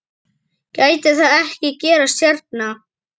Gæti það ekki gerst hérna?